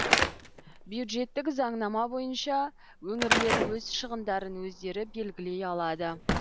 бюджеттік заңнама бойынша өңірлер өз шығындарын өздері белгілей алады